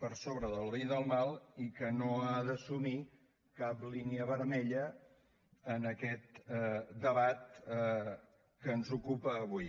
per sobre del bé i del mal i que no ha d’assumir cap línia vermella en aquest debat que ens ocupa avui